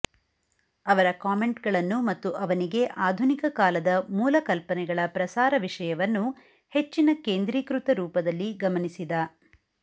ಅವರ ಕಾಮೆಂಟ್ಗಳನ್ನು ಮತ್ತು ಅವನಿಗೆ ಆಧುನಿಕ ಕಾಲದ ಮೂಲ ಕಲ್ಪನೆಗಳ ಪ್ರಸಾರ ವಿಷಯವನ್ನು ಹೆಚ್ಚಿನ ಕೇಂದ್ರೀಕೃತ ರೂಪದಲ್ಲಿ ಗಮನಿಸಿದ